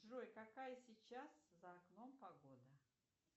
джой какая сейчас за окном погода